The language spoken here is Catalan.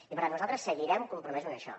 i per tant nosaltres seguirem compromesos amb això